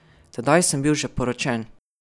Tedaj sem bil že poročen.